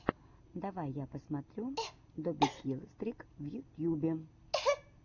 давай я посмотрю добикилстрик в ютьюбе